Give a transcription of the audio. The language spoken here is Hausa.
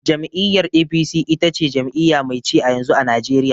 Jam'iyyar "A.P.C" ita ce jami'iya mai ci a yanzu, a najeriya